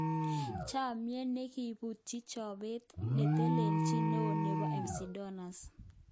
Chomiet nekibutyi chobet netelechin neo nebo McDonalds